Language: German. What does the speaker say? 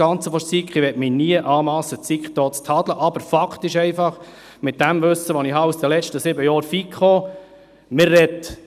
– Ich möchte mir nie anmassen, die SiK hier zu tadeln, aber Fakt ist einfach, mit dem Wissen, das ich aus den letzten sieben Jahren FiKo habe: